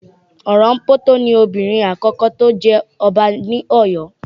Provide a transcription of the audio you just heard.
Orompoto ni obìnrin àkọ́kọ́ tí ó jẹ ọba ní Oyo